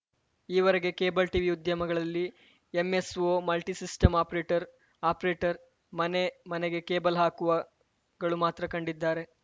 ಈವರೆಗೆ cable TV ಉದ್ಯಮಗಳಲ್ಲಿ MSO multisystem operator operator ಮನೆ ಮನೆಗೆ ಕೇಬಲ್‌ ಹಾಕುವ ಗಳು ಮಾತ್ರ ಕಂಡಿದ್ದಾರೆ